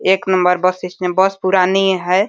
एक number bus इसमें बस पुरानी है।